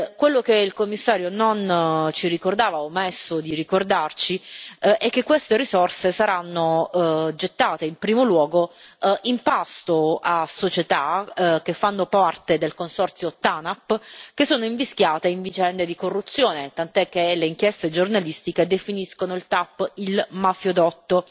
Quello che il Commissario non ci ricordava, o ha omesso di ricordarci, è che queste risorse saranno gettate in primo luogo in pasto a società che fanno parte del consorzio TANAP, che sono invischiate in vicende di corruzione, tant'è che le inchieste giornalistiche definiscono il TAP il mafiodotto.